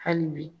Hali bi